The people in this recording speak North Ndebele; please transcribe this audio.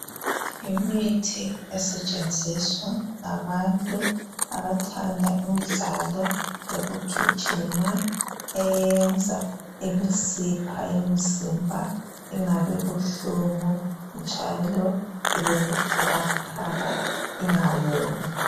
Imithi esetshenziswa ngabantu abathanda imidlalo yokugijima, eyenza imisipha yomzimba ingabibuhlungu njalo ibebuthakathaka ingawomi.